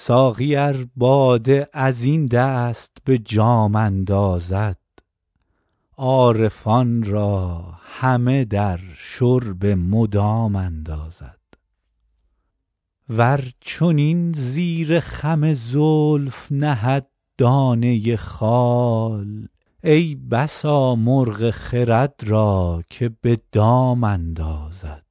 ساقی ار باده از این دست به جام اندازد عارفان را همه در شرب مدام اندازد ور چنین زیر خم زلف نهد دانه خال ای بسا مرغ خرد را که به دام اندازد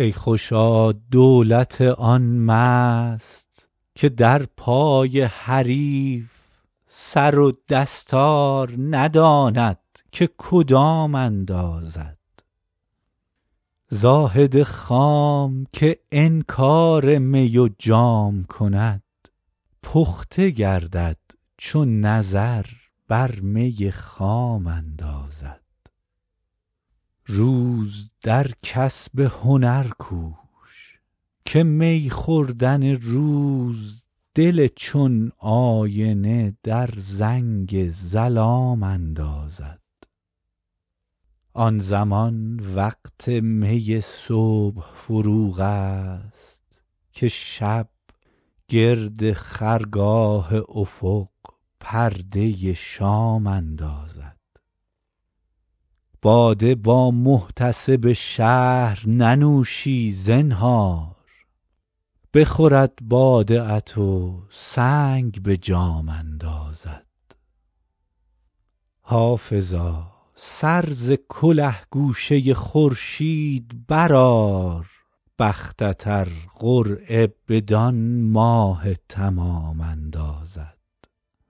ای خوشا دولت آن مست که در پای حریف سر و دستار نداند که کدام اندازد زاهد خام که انکار می و جام کند پخته گردد چو نظر بر می خام اندازد روز در کسب هنر کوش که می خوردن روز دل چون آینه در زنگ ظلام اندازد آن زمان وقت می صبح فروغ است که شب گرد خرگاه افق پرده شام اندازد باده با محتسب شهر ننوشی زنهار بخورد باده ات و سنگ به جام اندازد حافظا سر ز کله گوشه خورشید برآر بختت ار قرعه بدان ماه تمام اندازد